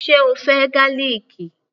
Ṣe o fẹ́ gálìkì?